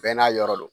Bɛɛ n'a yɔrɔ don